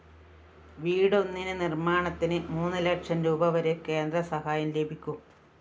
വീടൊന്നിന് നിര്‍മാണത്തിന് മൂന്നുലക്ഷം രൂപവരെ കേന്ദ്ര സഹായം ലഭിക്കും